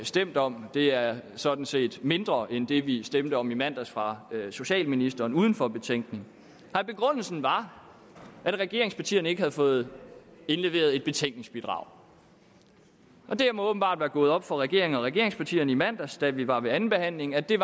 stemt om det er sådan set mindre end det vi stemte om i mandags fra socialministeren uden for betænkning nej begrundelsen var at regeringspartierne ikke havde fået indleveret et betænkningsbidrag det må åbenbart være gået op for regeringen og regeringspartierne i mandags da vi var ved andenbehandlingen at det